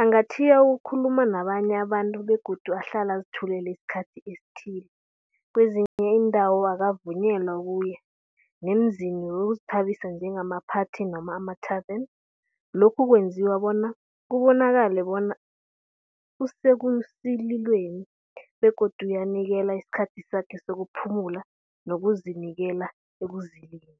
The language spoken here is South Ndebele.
Angatjhiya ukukhuluma nabanye abantu begodu ahlala azithulele isikhathi esithile. Kwezinye iindawo akavunyelwa ukuya nemizini wokuzithabisa njengamaphathi noma amathaveni lokhu kwenziwa bona kubonakale bona usekusililweni begodu uyanikelwa isikhathi sakhe sokuphumula ngokuzinikela ekuzileni.